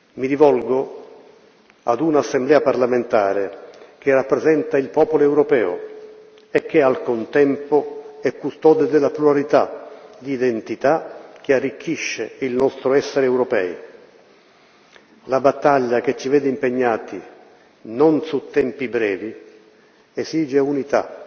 Mi rivolgo a un'Assemblea parlamentare che rappresenta il popolo europeo e che, al contempo, è custode della pluralità di identità che arricchisce il nostro essere europei la battaglia che ci vede impegnati non su tempi brevi, esige unità.